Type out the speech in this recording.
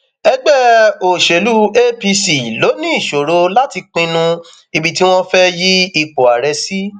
ẹgbẹ òṣèlú apc ló ní ìṣòro láti pinnu ibi tí wọn fẹẹ yí ipò ààrẹ sí